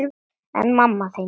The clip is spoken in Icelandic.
En mamma þín?